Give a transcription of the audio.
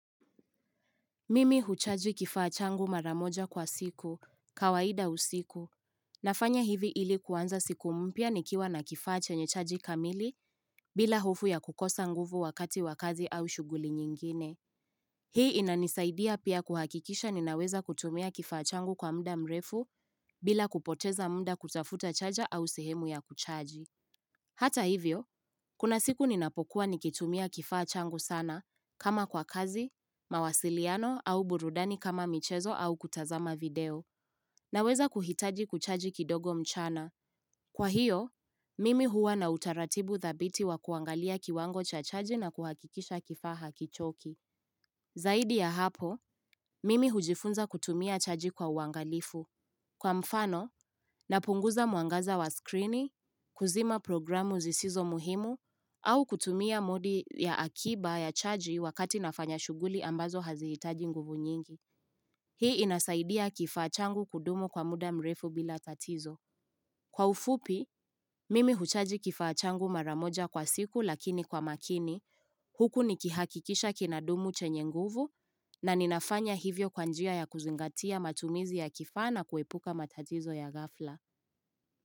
Mimi huchaji kifaa changu mara moja kwa siku, kawaida usiku. Nafanya hivi ili kuanza siku mpya nikiwa na kifas chenye chaji kamili bila hofu ya kukosa nguvu wakati wakazi au shuguli nyingine. Hii inanisaidia pia kuhakikisha ninaweza kutumia kifaa changu kwa muda mrefu bila kupoteza muda kutafuta chaja au sehemu ya kuchaji. Hata hivyo, kuna siku ninapokuwa nikitumia kifaa changu sana, kama kwa kazi, mawasiliano au burudani kama michezo au kutazama video, naweza kuhitaji kuchaji kidogo mchana. Kwa hiyo, mimi huwa na utaratibu thabiti wa kuangalia kiwango cha chaji na kuhakikisha kifaa hakichoki. Zaidi ya hapo, mimi hujifunza kutumia chaji kwa uangalifu. Kwa mfano, napunguza mwangaza wa skrini, kuzima programu zisizo muhimu, au kutumia modi ya akiba ya chaji wakati nafanya shughuli ambazo hazihitaji nguvu nyingi. Hii inasaidia kifachangu kudumu kwa muda mrefu bila tatizo. Kwa ufupi, mimi huchaji kifaa changu mara moja kwa siku lakini kwa makini huku nikihakikisha kinadumu chenye nguvu na ninafanya hivyo kwa njia ya kuzingatia matumizi ya kifaa na kuepuka matatizo ya ghafla.